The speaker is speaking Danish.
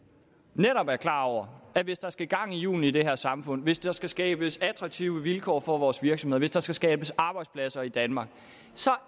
netop er klar over at hvis der skal gang i hjulene i det her samfund hvis der skal skabes attraktive vilkår for vores virksomheder hvis der skal skabes arbejdspladser i danmark